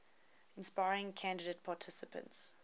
inspiring candidate participants